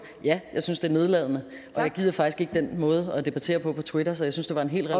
ja jeg synes det er nedladende og jeg gider faktisk ikke den måde at debattere på på twitter så jeg synes det var en helt